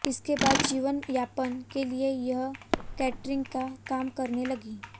इसके बाद जीवन यापन के लिए वह कैटरिंग का काम करने लगी